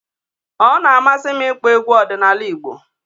Ọ na-amasị m ịkpọ egwu ọdịnala Igbo